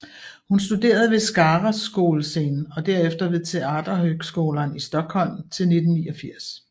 Hun studerede ved Skara Skolscen og derefter ved Teaterhögskolan i Stockholm til 1989